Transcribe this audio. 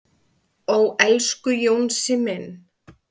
"""Ó, elsku Jónsi minn."""